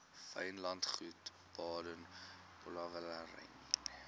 wynlandgoed baden powellrylaan